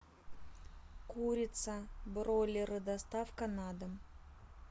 курица бройлеры доставка на дом